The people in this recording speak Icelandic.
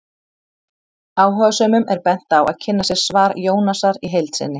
Áhugasömum er bent á að kynna sér svar Jónasar í heild sinni.